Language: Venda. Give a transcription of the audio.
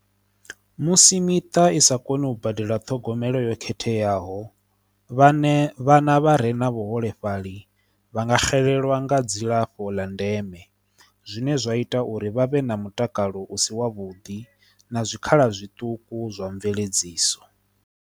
Musi miṱa i sa koni u badela ṱhogomelo yo khetheaho vhaṋe vhana vha re na vhuholefhali vha nga xelelwa nga dzilafho ḽa ndeme zwine zwa ita uri vhavhe na mutakalo u si wa vhuḓi na zwikhala zwiṱuku zwa mveledziso.